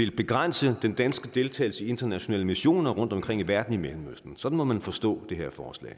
begrænse den danske deltagelse i internationale missioner rundtomkring i verden i mellemøsten sådan må man forstå det her forslag